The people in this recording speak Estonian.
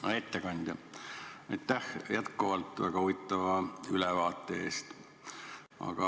Hea ettekandja, aitäh jätkuvalt väga huvitava ülevaate eest!